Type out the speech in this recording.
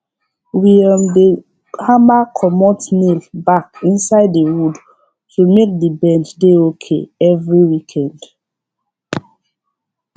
we um dey hammer comot nail back inside the wood to make the bench dey okay every weekend